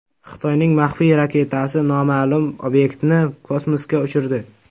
Xitoyning maxfiy raketasi noma’lum obyektni kosmosga uchirdi.